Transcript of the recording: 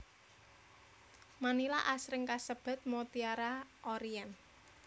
Manila asring kasebat Mutiara Orient